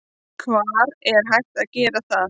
Hvar er hægt að gera það?